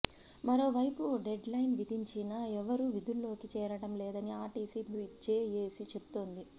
మరో వైపు deadline విధించినా ఎవరూ విధుల్లోకి చేరటం లేదని ఆర్టీసీ జేఏసీ చెబుతోంది